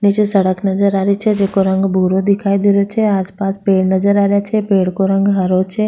नीचे सड़क नजर आ री छे जेको रंग भूरो दिखाई दे रेहो छे आसपास पेड़ नजर आ रेहा छे पेड़ को रंग हरो छे।